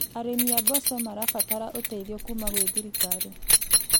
Arĩmi a mboco marabatara ũteithio kuuma gwĩ thirikari.